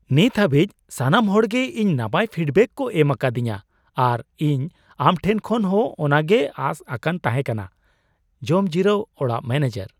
ᱱᱤᱛ ᱦᱟᱹᱵᱤᱡ ᱥᱟᱱᱟᱢ ᱦᱚᱲᱜᱮ ᱤᱧ ᱱᱟᱯᱟᱭ ᱯᱷᱤᱰᱵᱮᱠ ᱠᱚ ᱮᱢ ᱟᱠᱟᱫᱤᱧᱟᱹ ᱟᱨ ᱤᱧ ᱟᱢ ᱴᱷᱮᱱ ᱠᱷᱚᱱ ᱦᱚᱸ ᱚᱱᱟ ᱜᱮ ᱟᱸᱥ ᱟᱠᱟᱱ ᱛᱟᱦᱮᱸ ᱠᱟᱱᱟ ᱾ (ᱡᱚᱢᱡᱤᱨᱟᱹᱣ ᱚᱲᱟᱜ ᱢᱚᱱᱮᱡᱟᱨ)